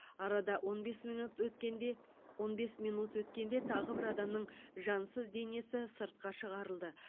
арада он бес минут өткенде он бес минут өткенде тағы бір адамның жансыз денесі сыртқа шығарылды